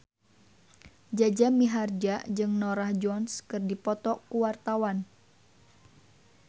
Jaja Mihardja jeung Norah Jones keur dipoto ku wartawan